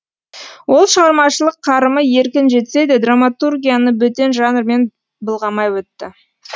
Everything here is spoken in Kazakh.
ол шығармашылық қарымы еркін жетсе де драматургияны бөтен жанрмен былғамай өтті